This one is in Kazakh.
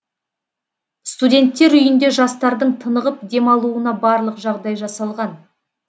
студенттер үйінде жастардың тынығып демалуына барлық жағдай жасалған